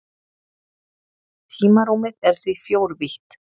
Tímarúmið er því fjórvítt.